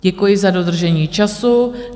Děkuji za dodržení času.